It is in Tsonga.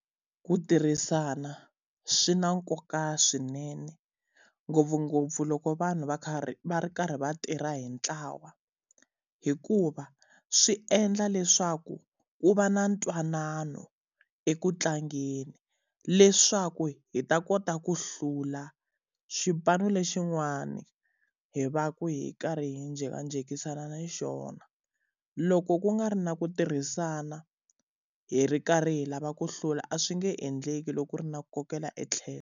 Ku tirhisana swi na nkoka swinene, ngopfungopfu loko vanhu va karhi va ri karhi va tirha hi ntlawa. Hikuva swi endla leswaku ku va na ntwanano eku tlangeni, leswaku hi ta kota ku hlula xipano lexin'wana hi va ku hi karhi hi jhekanjhekisana na xona. Loko ku nga ri na ku tirhisana, hi ri karhi hi lava ku hlula a swi nge endleki loko ku ri na ku kokela e tlhelo.